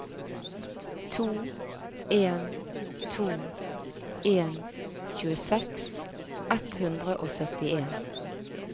to en to en tjueseks ett hundre og syttien